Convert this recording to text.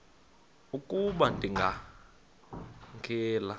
ukuba ndikha ngela